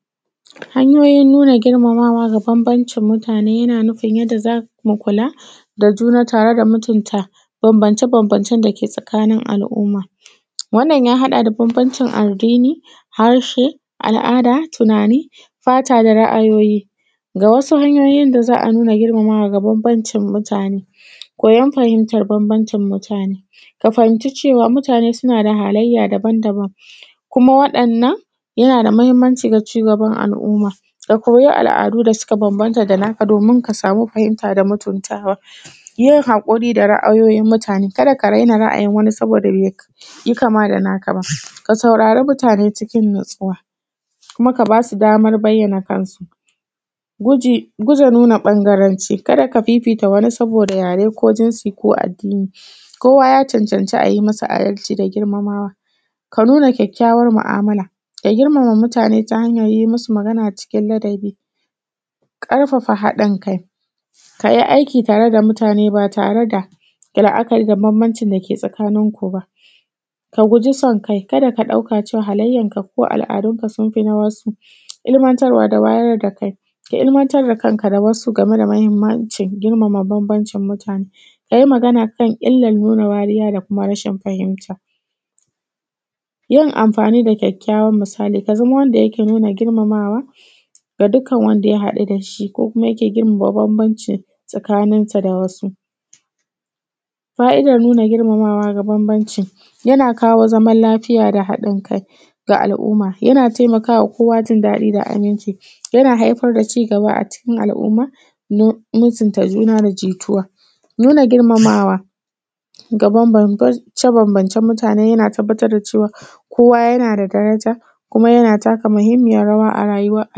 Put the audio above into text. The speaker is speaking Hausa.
Hanyoyin nuna girmama wa da bambancin mutane yana nufin yadda za mu kula da juna tare da mutunta bambance-bambancen dake tsakanin al’umma, wanan ya haɗa da bambancin addini, harshe, al’ada, tunani, fata da ra’ayoyi. Ga wasu hanyoyin da za a girmamawa ga bambancin mutane: koyan fahimtan bambancin mutane, ka fahinci cewa mutane suna da halayya daban-daban waɗannan yana da mahinmanci ga cigaban al’umma, ka koyi al’adu da suka bambanta da naka domin ka samu fahimta da mutuntawa, yin haƙuri da ra’ayoyin mutane kar ka raina ra’ayin wani saboda baiyi kama da naka ba ka, saurara mutane cikin natsuwa kuma ka ba su daman bayyana kansu, guji fifita ɓangarenka, ka da ka nuna fifanci saboda raye wajen shi ko addini, kowa ya cancanci a yi masa adalci da girmamawa, ka nuna kyakyawan mu’amala, ka girmama mutane ta hanyar yi musu magana cikin ladabi, ƙarfafa haɗin kai, ka yi aiki tare da mutane ba tare da ka nuna bambancin da ke tsakanin ku ba, ka guji san kai, ka da ka ɗauka halayyanka ko al’adunka sun fi na wasu ilimantar wa da wayar da kai, ka ilimantar da kanka da wasu game da ingancin girmama bambancin mutane ka yi magana kan nuna wariya da kuma rashin fahinta, yin amfani da kyaukyawan misali. Ka zamo kai ne me nuna girmamawa da dukkan wanda ka haɗu da shi ko kuma yake girmama bambancin tsakaninka da wasu. Fa’idan nuna girmamawa da bambancin yana kawo zaman lafiya da haɗin kai ga al’umma, yana nuna jin daɗi da aminci, yana haifar da ci gaba a cikin al’umma, mutunta juna da jituwa, nuna girmamawa da bambance- bambancen mutane yana tabbatar da cewa kowa yana da karanta kuma yana taka muhinmiyar rawa a amfanin.